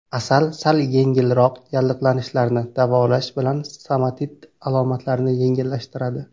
Asal sal yengilroq yallig‘lanishlarni davolash bilan stomatit alomatlarini yengillashtiradi.